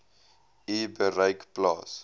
u bereik plaas